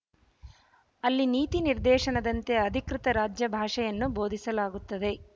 ಅಲ್ಲಿ ನೀತಿ ನಿರ್ದೇಶನದಂತೆ ಅಧಿಕೃತ ರಾಜ್ಯ ಭಾಷೆಯನ್ನು ಬೋಧಿಸಲಾಗುತ್ತದೆ